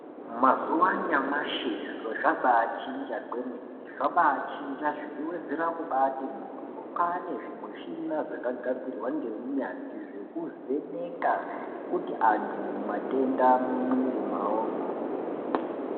Mazuva anyamashi zviro zvabachinja kwemene zvabachinja zveiwedzera kuti mohyo kwane zvimushina zvakagadzirwa ngeunyatsvi zvekuvheneka kuti antu mumatenda mumwiri mwavomwo.